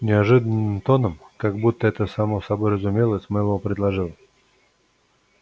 неожиданно тоном как будто это само собой разумелось мэллоу предложил